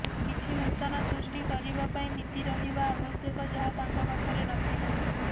କିଛି ନୂତନ ସୃଷ୍ଟି କରିବା ପାଇଁ ନୀତି ରହିବା ଆବଶ୍ୟକ ଯାହା ତାଙ୍କ ପାଖରେ ନଥିଲା